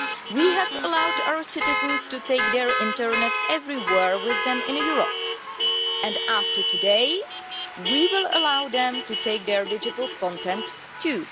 We have allowed our citizens to take their internet everywhere with them in Europe and after today we will allow them to take their digital content too.